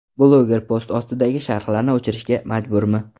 Bloger post ostidagi sharhlarni o‘chirishga majburmi?